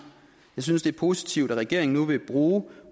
synes det er positivt at regeringen nu vil bruge